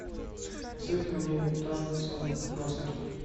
посоветуй мне танцы насмерть